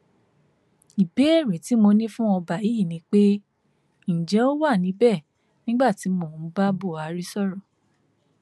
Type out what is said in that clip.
ìbéèrè tí mo ní fún ọba yìí ni pé ǹjẹ ó wà níbẹ nígbà tí mò ń bá buhari sọrọ